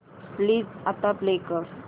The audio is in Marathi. प्लीज आता प्ले कर